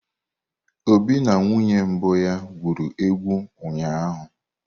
Obi na nwunye mbụ ha gwuru egwu ụnyahụ?